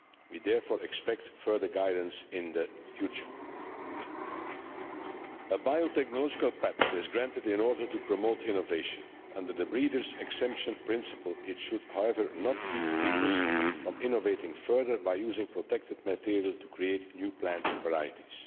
We therefore expect further guidance in the future. A biotechnological patent is granted in order to promote innovation. Under the breeders' exemption principle it should, however, not keep breeders from innovating further by using protected material to create new plant varieties.